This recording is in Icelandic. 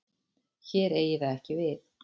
Hér eigi það ekki við.